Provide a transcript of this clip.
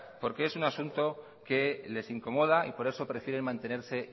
porque es un asunto que les incomoda y por eso prefiere mantenerse